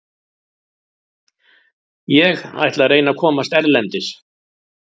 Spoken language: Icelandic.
Ég ætla að reyna að komast erlendis.